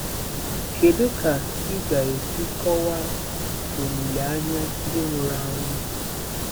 Kedu ka ị ga-esi kọwaa olileanya ndị nwụrụ anwụ?